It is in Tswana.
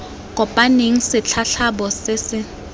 kopaneng se tlhatlhoba se se